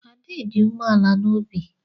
Ade dị umeala n'obi.